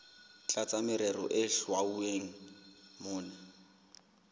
tlasa merero e hlwauweng mona